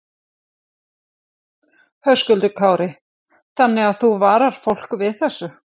Höskuldur Kári: Þannig að þú varar fólk við þessu?